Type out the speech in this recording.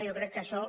jo crec que això